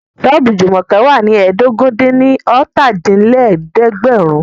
Ṣọ́ọ̀bù Jùmọ̀kẹ́ wà ní ẹ́ẹdógún-dín-ní-ọ́ta dín ní ẹ̀ẹ́dẹ́gbẹ́rún